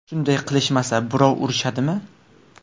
Shunday qilishmasa, birov urishadimi?